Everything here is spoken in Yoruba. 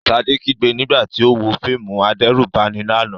Ṣadé kígbe nígbà tí ó ń wo fíìmù adẹ́rùbani lánàá.